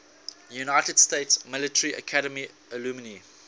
united states military academy alumni